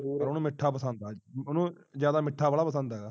ਉਹਨੂੰ ਮਿਠਾ ਪਸੰਦ ਹੈ ਉਹਨੂੰ ਮਿੱਠਾ ਜ਼ਿਆਦਾ ਪਸੰਦ ਹੈਰਾ